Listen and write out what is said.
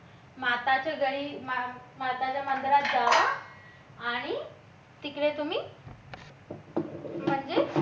माताच्या घरी माताच्या मंदिरात जावा आणि तिकडे तुम्ही म्हणजे